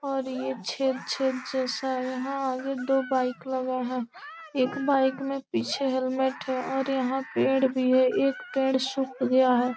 और ये छेद -छेद जैसा यहाँ आगे दो बाइक लगा हुआ है एक बाइक में पीछे हेलमेट है और यहाँ पेड़ भी है एक पेड़ सुख गया है।